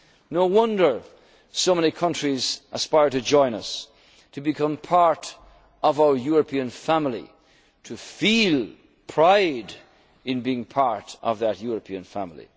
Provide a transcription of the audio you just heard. over the years. No wonder so many countries aspire to join us to become part of our European family, to feel pride in being part of